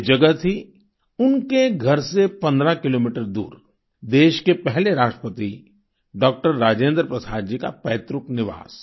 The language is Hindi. वे जगह थी उनके घर से 15 किलोमीटर दूर देश के पहले राष्ट्रपति डॉक्टर राजेंद्र प्रसाद जी का पैतृक निवास